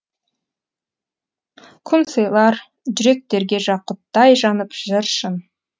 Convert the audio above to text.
күн сыйлар жүректерге жақұттай жанып жыр шын